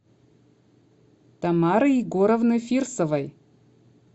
тамары егоровны фирсовой